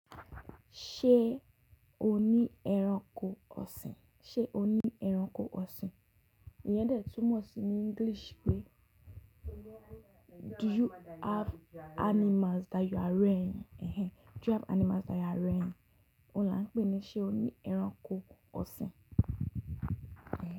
Ṣé o ní ẹranko ọ̀sìn? Ṣé o ní ẹranko ọ̀sìn? Iyẹn dẹ̀ túmọ̀ sí ní English pé: Do you have animals that you are rearing? Ehen. Do you have animals that you are rearing? Olá ń pè é ní ṣe o ní ẹranko ọ̀sìn. Ehen.